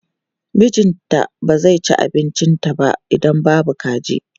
Mijinta ba zai ci abincinta ba idan babu kaji.